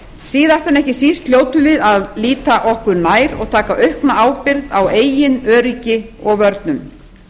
síðast en ekki síst hljótum við að líta okkur nær og taka aukna ábyrgð á eigin öryggi og vörnum